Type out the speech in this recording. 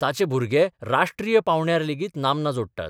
ताचे भुरगे राष्ट्रीय पावंड्यार लेगीत नामना जोडटात.